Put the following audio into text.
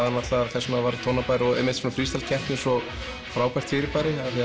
þess vegna var Tónabær svona freestyle keppni svo frábært fyrirbæri af því